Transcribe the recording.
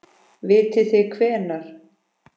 Vitið þið hvenær?